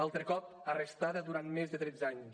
altre cop arrestada durant més de tretze anys